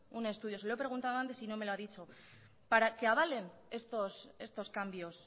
un estudio se lo he preguntado antes y no me lo ha dicho para que avalen estos cambios